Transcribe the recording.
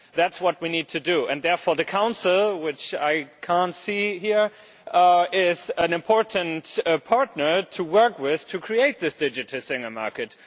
That is what we need to do, and therefore the Council which I cannot see here is an important partner to work with to create this Digital Single Market.